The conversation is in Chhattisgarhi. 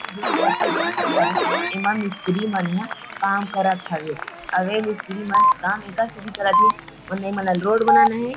जो फोटो दिखत हावे एमा मिस्त्री मन ह काम करत हवे अउ ए मिस्त्री मन काम एकर सेती करत हे उनने ए मन रोड ल रोड बनाना हे ।